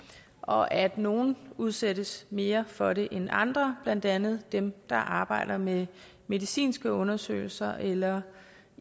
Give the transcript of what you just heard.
og at nogle udsættes mere for det end andre blandt andet dem der arbejder med medicinske undersøgelser eller